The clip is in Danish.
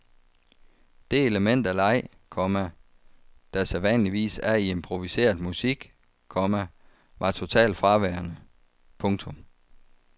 Det element af leg, komma der sædvanligvis er i improviseret musik, komma var totalt fraværende. punktum